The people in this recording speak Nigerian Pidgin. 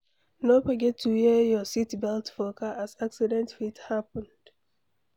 No forget to wear your seatbelt for car as accident fit happen